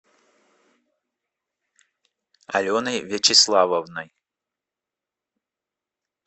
аленой вячеславовной